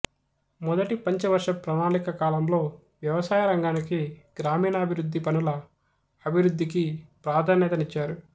మొదటి పంచవర్ష ప్రణాళిక కాలంలో వ్యవసాయ రంగానికి గ్రామీణాభివృద్ధి పనుల అభివృద్ధికీ ప్రధన్యత నిచ్చారు